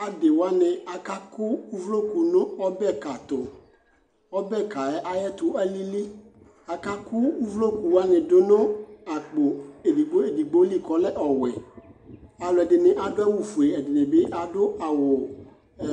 awa diwani akaku uvloku nu ɔbɛ ka tu ɔbɛ ka yɛ ayɛ tu alili akaku uvloku wa ni du nu akpo édigbo édigbo li kɔ lɛ ɔwɛ alu edini bi adu awu foé ɛdini bi adu awu